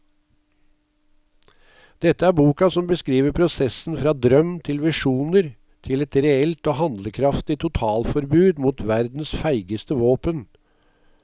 Dette er boka som beskriver prosessen fra drøm til visjoner til et reelt og handlekraftig totalforbud mot verdens feigeste våpen.